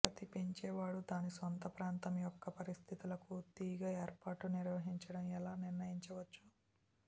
ప్రతి పెంచేవాడు దాని సొంత ప్రాంతం యొక్క పరిస్థితులకు తీగ ఏర్పాటు నిర్వహించడం ఎలా నిర్ణయించవచ్చు